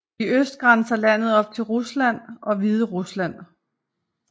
I øst grænser landet op til Rusland og Hviderusland